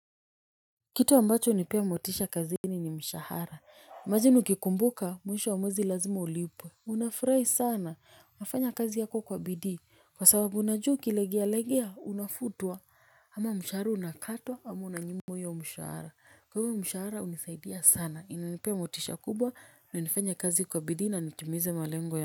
Kitu ambacho hunipea motisha kazini ni mshahara, imagine hukikumbuka mwisho wa mwezi lazima ulipwe. Unafurahi sana, unafanya kazi yako kwa bidiikwa sababu unajuwa ukilegea legea unafutwa ama mshahara unakatwa ama unanjimwa hiyo mshahara. Kwa hivyo mshahara unisaidia sana, inanipea motisha kubwa na nifanya kazi kwa bidhi na nitumize malengo ya.